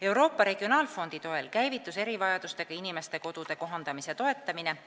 Euroopa regionaalfondi toel käivitus erivajadustega inimeste kodude kohandamise toetamine.